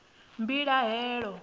mbilahelo